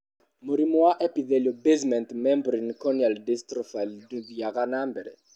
Mũrimũ wa epithelial basement membrane corneal dystrophy ndũthiaga na mbere.